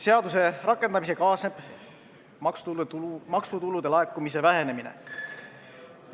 Seaduse rakendamisega kaasneb maksutulu laekumise vähenemine.